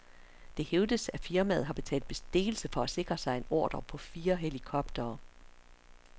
Det hævdes, at firmaet har betalt bestikkelse for at sikre sig en ordre på fire helikoptere.